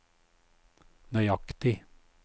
nøyaktig